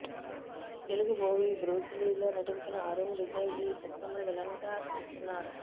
Telugu movie Bruce లీలో నటించిన అరుణ్ విజయ్ ఈ చిత్రంలో విలన్ గా చేస్తున్నారు